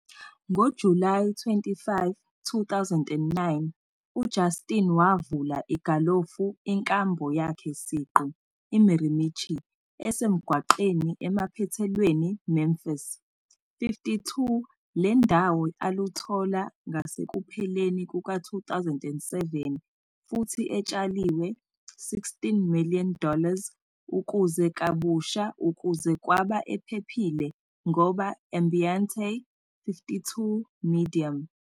Ngo-July 25, 2009, Justin wavula igalofu inkambo yakhe siqu, Mirimichi, esemgwaqweni emaphethelweni Memphis.52 le ndawo aluthola ngasekupheleni 2007 futhi etshaliwe 16 million dollars ukuze kabusha ukuze kwaba ephephile ngoba ambiente.52 medium